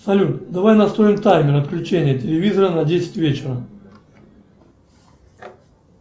салют давай настроим таймер отключения телевизора на десять вечера